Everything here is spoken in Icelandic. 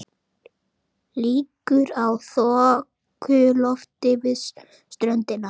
Líkur á þokulofti við ströndina